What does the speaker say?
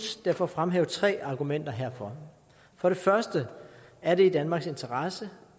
derfor fremhæve tre argumenter herfor for det første er det i danmarks interesse